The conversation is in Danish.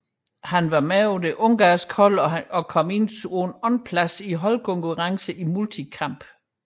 Han var med på det ungarske hold som som kom på en andenplads i holdkonkurrencen i multikamp